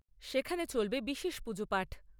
সেখানে চলবে বিশেষ পুজো পাঠ।